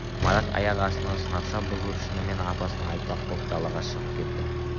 марат аяқ астынан сынапша бұзылып шынымен апасына айтпақ боп далаға шығып кетті